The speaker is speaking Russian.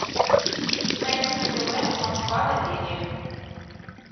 найти на тв москва доверие